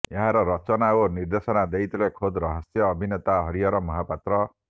ଏହାର ରଚନା ଓ ନିର୍ଦ୍ଦେଶନା ଦେଇଥିଲେ ଖୋଦ୍ ହାସ୍ୟ ଅଭିନେତା ହରିହର ମହାପାତ୍ର